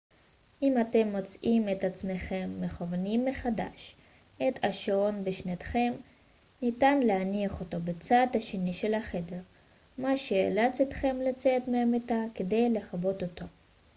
אם אתם מוצאים את עצמכם מכוונים מחדש את השעון בשנתכם ניתן להניח אותו בצד השני של החדר מה שייאלץ אתכם לצאת מהמיטה כדי לכבות אותו